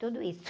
Tudo isso.